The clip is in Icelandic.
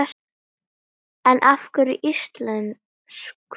En af hverju íslensk ull?